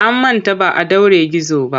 An manta ba a ɗaure gizo ba.